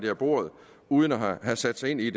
af bordet uden at have sat sig ind i